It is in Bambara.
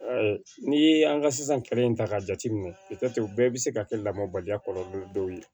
N'i ye an ka sisan kelen in ta k'a jateminɛ bɛɛ bɛ se ka kɛ lamɔbaliya kɔlɔlɔ ye dɔw ye